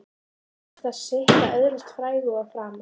En það kostar sitt að öðlast frægð og frama.